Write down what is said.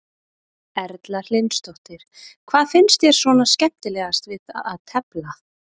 Erla Hlynsdóttir: Hvað finnst þér svona skemmtilegast við að tefla?